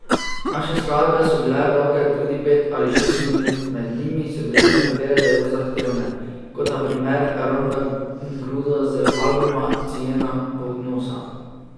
Naše skladbe so bile dolge tudi pet ali šest minut, med njimi so bile nekatere zelo zahtevne, kot na primer Rodna gruda z albuma Cijena ponosa.